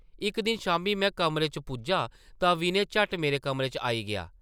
इक दिन शामी में कमरे च पुज्जा तां विनय झट्ट मेरे कमरे च आई गेआ ।